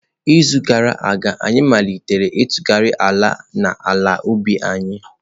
N'izu gara aga, anyị malitere ntụgharị ala n'ala ubi anyị.